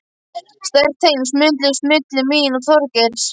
Sterk tengsl mynduðust milli mín og Þorgeirs.